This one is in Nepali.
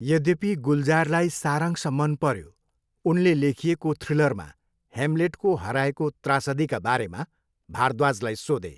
यद्यपि गुलजारलाई सारांश मन पऱ्यो, उनले लेखिएको थ्रिलरमा ह्यामलेटको हराएको त्रासदीका बारेमा भारद्वाजलाई सोधे।